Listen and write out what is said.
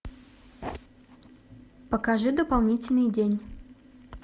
покажи дополнительный день